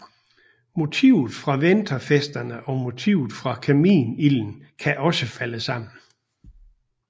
Motivet for vinterfesterne og motivet for kaminilden kan også falde sammen